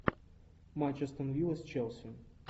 матч астон вилла с челси